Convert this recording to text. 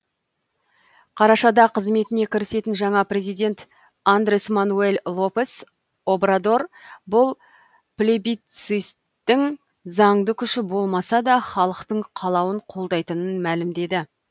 қарашада қызметіне кірісетін жаңа президент андрес мануэль лопес обрадор бұл плебисциттің заңды күші болмаса да халықтың қалауын қолдайтынын мәлімдеді